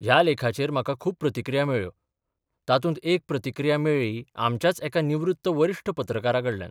ह्या लेखाचेर म्हाका खूब प्रतिक्रिया मेळ्ळ्यो तातूंत एक प्रतिक्रिया मेळ्ळी आमच्याच एका निवृत्त वरिश्ठ पत्रकाराकडल्यान.